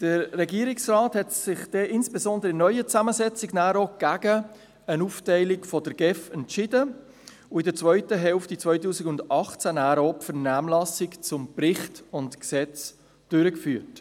Der Regierungsrat hat sich insbesondere in der neuen Zusammensetzung gegen eine Aufteilung der GEF entschieden und in der zweiten Hälfte 2018 auch die Vernehmlassung zu Bericht und Gesetz durchgeführt.